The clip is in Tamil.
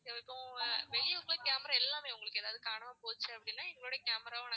இப்போ வெளிய இருக்கிற camera எல்லாமே உங்களுக்கு ஏதாவது காணாம போச்சு அப்படின்னா எங்களுடைய camera